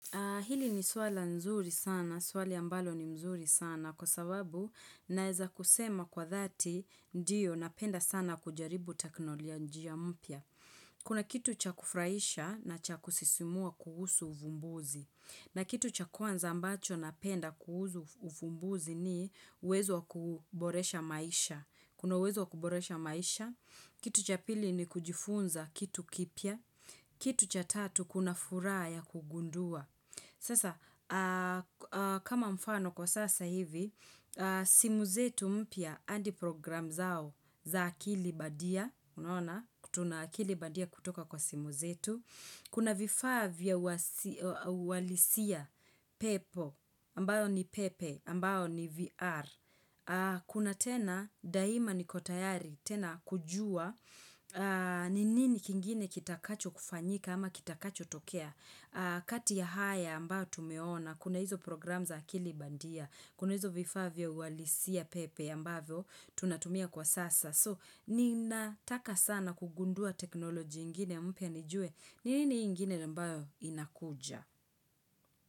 Hili ni swala nzuri sana, swali ambalo ni mzuri sana, kwa sababu naeza kusema kwa dhati, ndiyo napenda sana kujaribu teknolojia mpya. Kuna kitu cha kufraisha na cha kusisimua kuhusu uvumbuzi. Na kitu cha kwanza ambacho napenda kuhusu ufumbuzi ni uwezo kuboresha maisha. Kuna wezo kuboresha maisha. Kitu cha pili ni kujifunza kitu kipya. Kitu cha tatu kuna furaha ya kugundua. Sasa, kama mfano kwa sasa hivi, simu zetu mpya andi program zao za akili badia, unaona, tuna akili bandia kutoka kwa simu zetu. Kuna vifaa vya ualisia pepo, ambayo ni pepe, ambayo ni VR. Kuna tena, daima niko tayari, tena kujua, ni nini kingine kitakacho kufanyika ama kitakachotokea. Kati ya haya ambayo tumeona kuna hizo programu za akili bandia kuna hizo vifaa vya uwalisia pepe ambayo tunatumia kwa sasa so ninataka sana kugundua teknoloji ingine mpya nijue nini ingine na mbayo inakuja.